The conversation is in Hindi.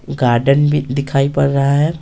गार्डन भी दिखाई पड़ रहा है।